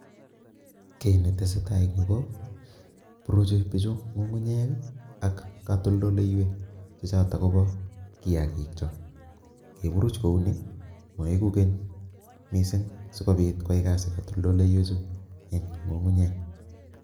Kiy ne tesetai en Yuu ko bruchi bichuu ngungunyeek ii ak katoltoleiweek che chotoon kobaa kiagiik kyaak ingeburuuch ko uu ni maegu keeny Missing sikobiit koyai katoltoleiweek eng ngungunyeek.